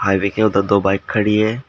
Highway के उधर दो बाइक खड़ी हैं।